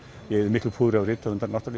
ég eyði miklu púðri á rithöfunda